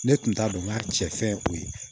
Ne tun t'a dɔn n k'a cɛ fɛn o ye